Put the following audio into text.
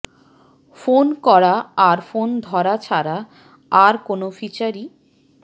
phone করা আর phone ধরা ছাড়া আর কোনও ফিচারই